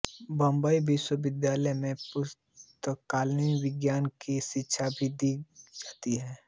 बंबई विश्वविद्यालय में पुस्तकालयविज्ञान की शिक्षा भी दी जाती है